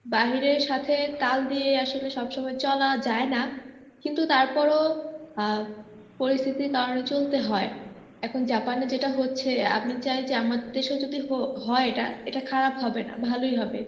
বাহিরের সাথে তাল দিয়ে আসলে সবসময় চলা যায় না, কিন্তু তারপরও আহ পরিস্থিতির কারণে চলতে হয় এখন জাপানে যেটা হচ্ছে আমি চাই যে আমাদের দেশেও যদি হো~ হয় এটা এটা খারাপ হবেনা ভালোই হবে.